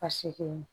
Ka segin